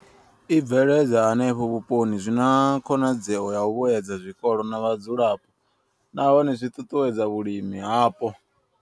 I bveledzwaho henefho vhuponi zwi na khonadzeo ya u vhuedza zwikolo na vhadzulapo, nahone zwi ṱuṱuwedza vhulimi hapo.